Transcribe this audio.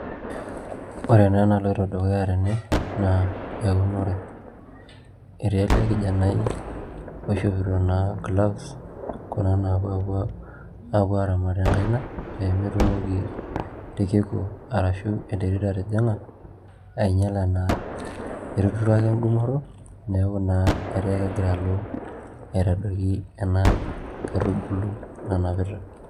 Ore naa enaloito dukuya tene naa eunore etii ele kijanai oishopito naa gloves kuna naapuo apuo aaramat enkaina pee metumoki irkiku arashu enterit atijing'a ainyiala naa etuturo ake enkumoto neeku naa etaa ekegira alo aitadoiki ena kaitubulu nanapita.